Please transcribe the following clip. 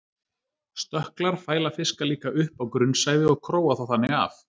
stökklar fæla fiska líka upp á grunnsævi og króa þá þannig af